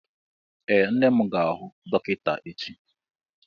Ee, nne m ga-ahụ dọkịta echi.